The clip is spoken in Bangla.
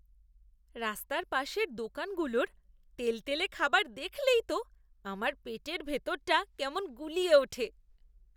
রাস্তার পাশের দোকানগুলোর তেলতেলে খাবার দেখলেই তো আমার পেটের ভেতরটা কেমন গুলিয়ে ওঠে।